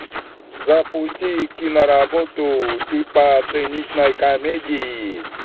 запусти киноработу типа циничной комедии